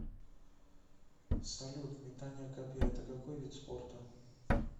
салют метание копья это какой вид спорта